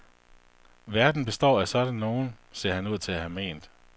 Verden består af sådan nogen, ser han ud til at have ment.